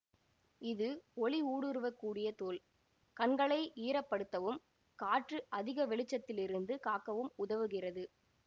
இது ஒளி ஊடுருவ கூடிய தோல் கண்களை ஈரப்படுத்தவும் காற்று அதிக வெளிச்சத்திலிருந்து காக்கவும் உதவுகிறது